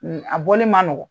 A bɔli ma nɔgɔ